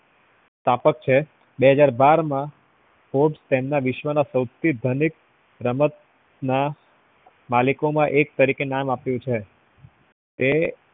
સ્તાપક છે બે હાજર બાર માં coach તેમના વિશ્વ ના સવથી ધનિક માલિકો માં એક તરીકે નામ આપ્યું છે તે